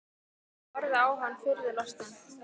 Ég horfði á hann furðu lostinn.